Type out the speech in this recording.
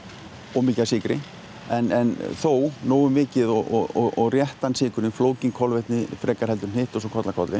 of mikið af sykri en þó nógu mikið til og réttan sykur flókin kolvetni frekar en hitt og svo koll af kolli